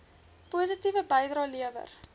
positiewe bydrae lewer